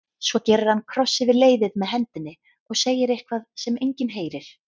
Svo gerir hann kross yfir leiðið með hendinni og segir eitthvað sem enginn heyrir.